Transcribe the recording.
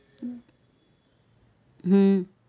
હમ